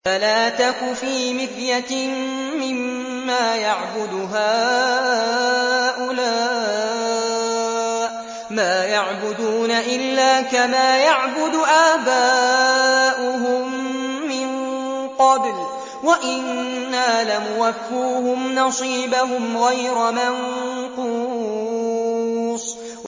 فَلَا تَكُ فِي مِرْيَةٍ مِّمَّا يَعْبُدُ هَٰؤُلَاءِ ۚ مَا يَعْبُدُونَ إِلَّا كَمَا يَعْبُدُ آبَاؤُهُم مِّن قَبْلُ ۚ وَإِنَّا لَمُوَفُّوهُمْ نَصِيبَهُمْ غَيْرَ مَنقُوصٍ